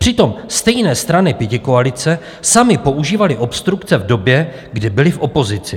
Přitom stejné strany pětikoalice samy používaly obstrukce v době, kdy byly v opozici.